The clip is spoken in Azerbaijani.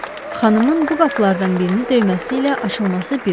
Xanımın bu qapılardan birini döyməsi ilə açılması bir oldu.